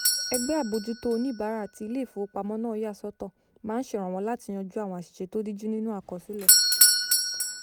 ẹgbẹ́ àbójútó oníbàárà tí ilé-ìfowópamọ́ náà yà sọ́tọ̀ máa ń ṣèrànwọ́ láti yanjú àwọn àṣìṣe tó díjú nínú àkọsílẹ̀